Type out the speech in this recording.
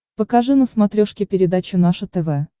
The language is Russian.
покажи на смотрешке передачу наше тв